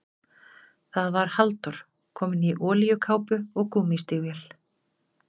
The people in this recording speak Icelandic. Það var Halldór, kominn í olíukápu og gúmmístígvél.